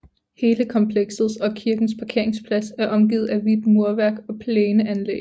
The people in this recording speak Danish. Hele komplekset og kirkens parkeringsplads er omgivet af hvidt murværk og plæneanlæg